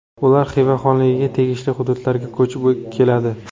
Ular Xiva xonligiga tegishli hududlarga ko‘chib keladi.